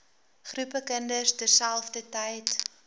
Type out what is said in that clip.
groepe kinders terselfdertyd